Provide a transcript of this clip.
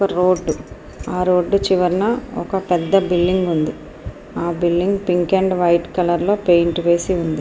Road ఆ road చివరన ఒక పెద్ద బిల్డింగు ఉంది ఆ building pink and white colour లో పెయింట్ వేసి ఉంది.